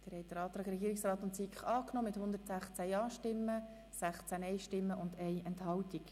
Sie haben den Antrag Regierungsrat/SiK angenommen mit 116 Ja- zu 16 Nein-Stimmen bei 1 Enthaltung.